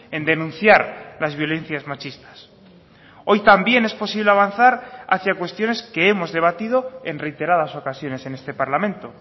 en denunciar las violencias machistas hoy también es posible avanzar hacia cuestiones que hemos debatido en reiteradas ocasiones en este parlamento